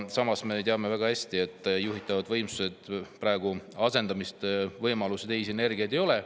Samas me teame väga hästi, et juhitavate võimsuste asendamise võimalust ja teisi energia praegu ei ole.